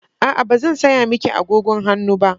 A'a, ba zan saya miki agogon hannu ba.